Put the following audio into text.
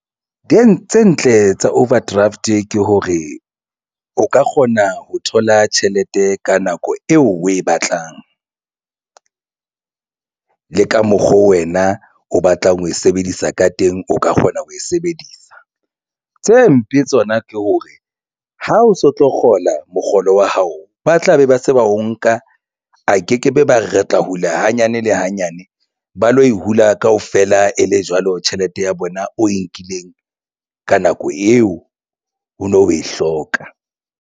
Teng tse ntle tsa overdraft ke hore o ka kgona ho thola tjhelete ka nako eo o e batlang. Le ka mokgo wena o batlang ho e sebedisa ka teng o ka kgona ho e sebedisa tse mpe tsona ke hore ha o so tlo kgola mokgolo wa hao. Ba tlabe ba se ba o nka a ke ke be ba re re tla hula hanyane le hanyane ba lo e hula kaofela e le jwalo tjhelete ya bona o e nkileng ka nako eo o no o e hloka.